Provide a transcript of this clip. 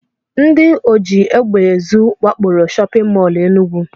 Ndị ojiegbeezu wakporo shọpịn mọl Enugu